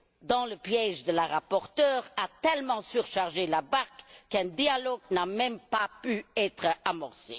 dans le piège de la rapporteure, a tellement surchargé la barque que le dialogue n'a même pas pu être amorcé.